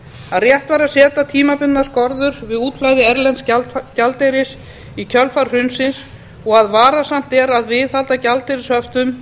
að rétt hafi verið að setja tímabundnar skorður við útflæði erlends gjaldeyris í kjölfar hrunsins og að varasamt sé að viðhalda gjaldeyrishöftum